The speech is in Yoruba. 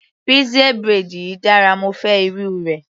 Pixie braid yìí dára, mo fẹ́ irú rẹ̀.